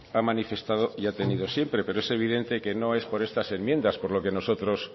ha manifestado y ha tenido siempre pero es evidente que no es por estas enmiendas por lo que nosotros